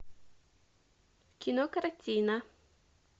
кинокартина